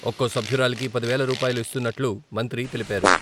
ఒక్కో సభ్యురాలికి పది వేల రూపాయలు ఇస్తున్నట్లు మంత్రి తెలిపారు.